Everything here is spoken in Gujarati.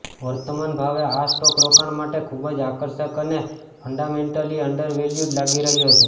વર્તમાન ભાવે આ સ્ટોક રોકાણ માટે ખૂબ જ આકર્ષક અને ફ્ન્ડામેન્ટલી અન્ડરવેલ્યૂડ લાગી રહ્યો છે